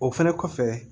O fɛnɛ kɔfɛ